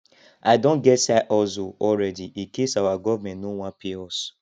i don get side hustle already incase our government no wan pay us